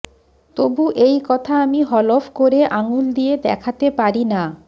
তবু এই কথা আমি হলফ করে আঙুল দিয়ে দেখাতে পারি না